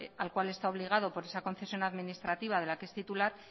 al cual está obligado por esa concesión administrativa de la que es titular